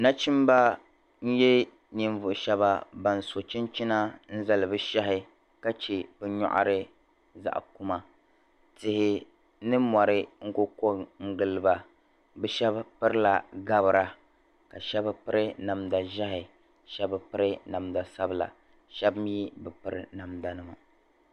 nachimba n nyɛ ninvuɣ'shɛba ban so chinchina n zali bɛ shahi ka che bɛ nyɔɣiri zaɣ'kuma tihi ni mɔri n ku kɔŋ giliba bɛ shabi pirila gbabra ka shabi piri namda zeeihi ka shabi piri namda sabila ka shabi mii bi piri namdanima